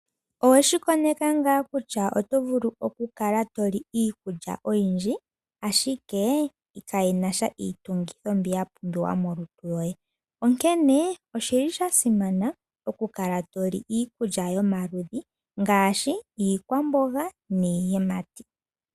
Oweshi koneka ngaa kutya oto vulu okukala to li iikulya oyindji, ashike kayi na sha iitungithi mbyono ya pumbiwa molutu lwoye. Onkene osha simana okukala to li iikulya yomaludhi ngaashi iikwamboga niiyimati.